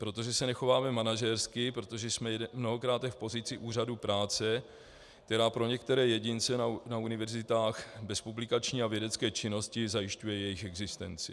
Protože se nechováme manažersky, protože jsme mnohokráte v pozici úřadu práce, která pro některé jedince na univerzitách bez publikační a vědecké činnosti zajišťuje jejich existenci.